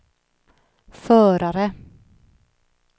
förare